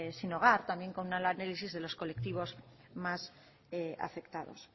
sin hogar también con un análisis de los colectivos más afectados